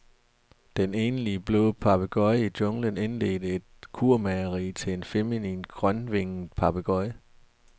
Den enlige blå papegøje i junglen indledte et kurmageri til en feminin, grønvinget papegøje.